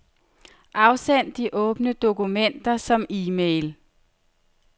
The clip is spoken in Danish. Afsend de åbne dokumenter som e-mail.